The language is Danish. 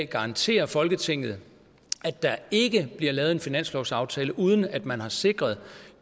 garantere folketinget at der ikke bliver lavet en finanslovsaftale uden at man har sikret